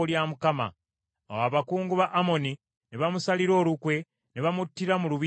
Awo abakungu ba Amoni ne bamusalira olukwe, ne bamuttira mu lubiri lwe.